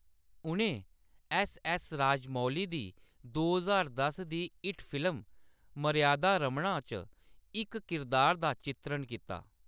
उʼनें एस.एस. राजमौली दी दो ज्हार दस दी हिट फिल्म मर्यादा रमन्ना च इक किरदार दा चित्रण कीता।